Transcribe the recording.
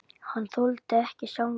Hann þoldi ekki sjálfan sig.